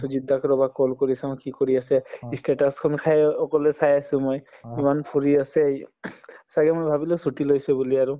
সুজিত দাক ৰবা call কৰি চাওঁ কি কৰি আছে ই status সমূহ চায়ে অকলে চাই আছো মই ইমান ফুৰি আছে ছাগে মই ভাবিলো ছুটী লৈছে বুলি আৰু